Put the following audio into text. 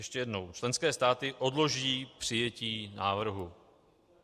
Ještě jednou: Členské státy odloží přijetí návrhu.